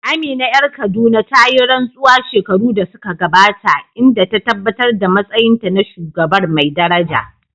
Amina ƴar Kaduna ta yi rantsuwa shekaru da suka gabata, inda ta tabbatar da matsayinta na shugabar mai daraja.